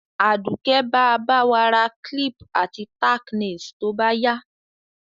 Àdùké ba ba wa ra clip àti tack nails to báyá